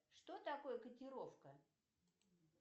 что такое котировка